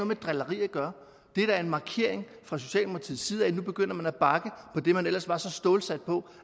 med drilleri at gøre det er da en markering fra socialdemokratiets side af at nu begynder man at bakke på det man ellers var så stålsat på